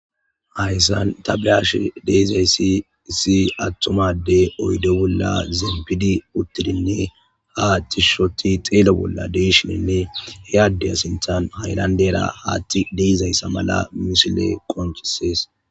Hayssan tabliash deizayssi issi attumade oydo bolla zeembidi uttidinne ha tishshoti xeele bolla deeshinenne heyaaddeya sinthan haylandera haatti deizayssa mala misile qonchisees.